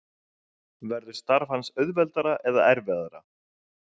Verður starf hans auðveldara eða erfiðara?